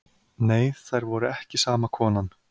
Nei þær voru ekki sama konan.